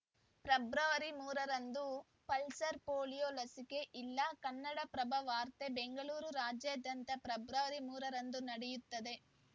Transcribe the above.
February ಮೂರ ರಂದು pulse polio ಲಸಿಕೆ ಇಲ್ಲ ಕನ್ನಡಪ್ರಭ ವಾರ್ತೆ ಬೆಂಗಳೂರು ರಾಜ್ಯಾದ್ಯಂತ ಫೆಬ್ರವರಿ ಮೂರ ರಂದು ನಡೆಯುತ್ತದೆ